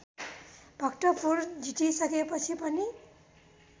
भक्तपुर जितिसकेपछि पनि